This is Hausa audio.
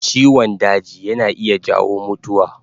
Ciwon daji yana iya jawo mutuwa